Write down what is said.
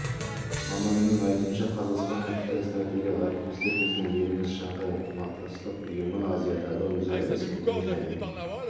маманның айтуынша қазақстан мен қытай стратегиялық әріптестер біздің еліміз шанхай ынтымақтастық ұйымы азиядағы өзара іс-қимыл және